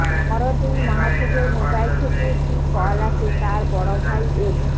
পরদিন মাহফুজের মোবাইল থেকে একটি কল আসে তার বড় ভাই এড